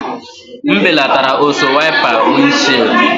M belatara ọsọ wiper windshield.